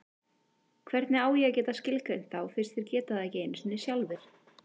Hvernig á ég að geta skilgreint þá fyrst þeir geta það ekki einu sinni sjálfir?